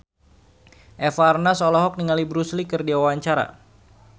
Eva Arnaz olohok ningali Bruce Lee keur diwawancara